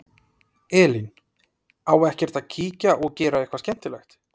Elín: Á ekkert að kíkja og gera eitthvað skemmtilegt?